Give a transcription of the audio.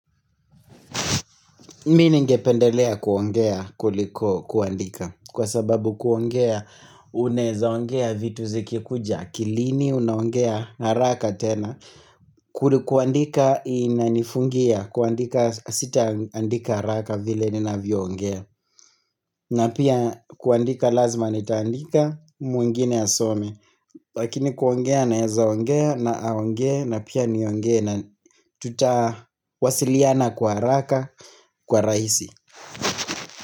Mi ningependelea kuongea kuliko kuandika kwa sababu kuongea unaezaongea vitu zikikuja akilini unaongea haraka tena. Kuli kuandika ina nifungia kuandika sita andika haraka vile ninavyongea. Na pia kuandika lazma nitaandika mwingine asome. Lakini kuongea naezaongea na aongee na pia niongee na tuta wasiliana kwa haraka kwa rahisi.